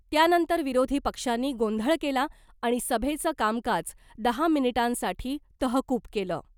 त्यानंतर विरोधी पक्षांनी गोंधळ केला आणि सभेचं कामकाज दहा मिनिटांसाठी तहकुब केलं .